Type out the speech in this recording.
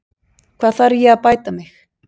Hvar þarf ég að bæta mig?